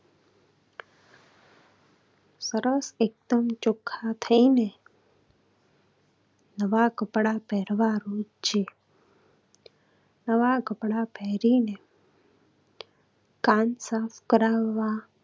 સરસ એકદમ ચોખ્ખા થઈને નવા કપડા પહેરવાનું જ છે. નવા કપડા પહેરીને કાન સાફ કરાવવા.